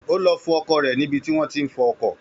Ó lọ fọ ọkọ̀ rẹ̀ ní ibi tí wọ́n tí ń fọ ọkọ̀